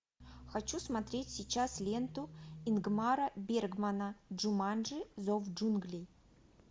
хочу смотреть сейчас ленту ингмара бергмана джуманджи зов джунглей